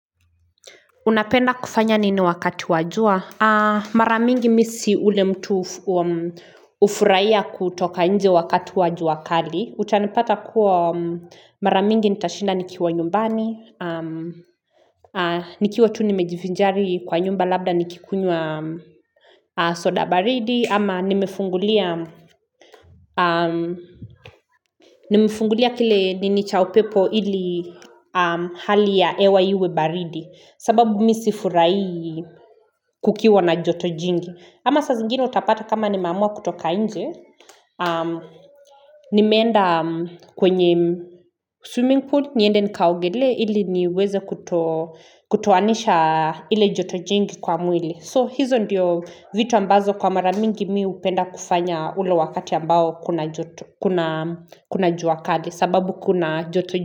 Unapenda kufanya nini wakati wa jua mara mingi misi ule mtu ufuraiya kutoka nje wakati wajua kali utanipata kuwa maramingi nitashinda nikiwa nyumbani nikiwa tu nimejivinjari kwa nyumba labda nikikunywa soda baridi ama nimefungulia nimefungulia kile ninichaupepo ili hali ya ewa iwe baridi sababu misifurai kukiwa na joto jingi. Ama saa zingine utapata kama nimeamua kutoka nje. Nimeenda kwenye swimming pool, nyende nikaogele ili niweze kuto kutowanisha ile joto jingi kwa mwili. So hizo ndiyo vitu ambazo kwa maramingi mi upenda kufanya ule wakati ambao kuna juakali sababu kuna joto jingi.